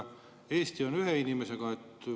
Eesti on seal ühe inimesega.